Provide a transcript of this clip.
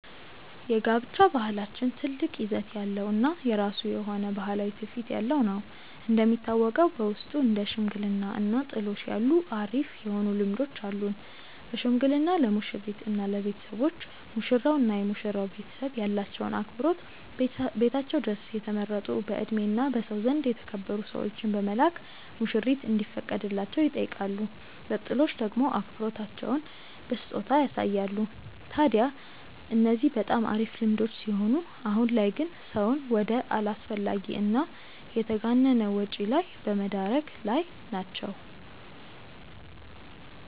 የጋብቻ ባህላችን ትልቅ ይዘት ያለው እና የራሱ የሆነ ባህላዊ ትውፊት ያለው ነው። እንደሚታወቀው በውስጡ እንደ ሽምግልና እና ጥሎሽ ያሉ አሪፍ የሆኑ ልምዶች አሉን። በሽምግልና ለሙሽሪት እና ለቤተሰቦች፤ ሙሽራው እና የመሽራው ቤተሰብ ያላቸውን አክብሮት ቤታቸው ድረስ የተመረጡ በእድሜ እና በሰው ዘንድ የተከበሩ ሰዎችን በመላክ ሙሽሪት እንዲፈቀድላቸው ይጠይቃሉ። በጥሎሽ ደሞ አክብሮታቸውን በስጦታ ያሳያሉ። ታድያ እነዚህ በጣም አሪፍ ልምዶች ሲሆኑ አሁን ላይ ግን ሰውን ወደ አላስፈላጊ እና የተጋነነ ወጪ ላይ በመደረግ ላይ ናቸው።